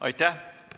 Aitäh!